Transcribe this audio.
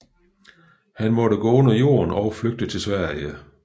Han måtte gå under jorden og flygte til Sverige